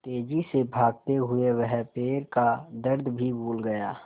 तेज़ी से भागते हुए वह पैर का दर्द भी भूल गया